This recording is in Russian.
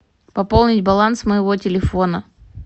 пополнить баланс моего телефона